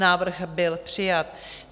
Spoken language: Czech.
Návrh byl přijat.